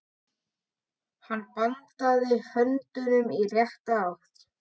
Hann bandaði höndinni í rétta átt.